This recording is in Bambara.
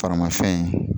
Farimafɛn